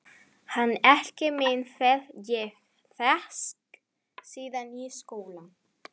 Hann Egil minn hef ég þekkt síðan í skóla.